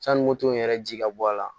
Sanni moto in yɛrɛ ji ka bɔ a la